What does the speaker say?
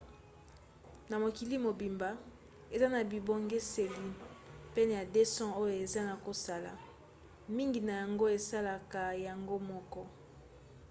na mokili mobimba eza na bibongiseli pene ya 200 oyo eza na kosala. mingi na yango esalaka yango moko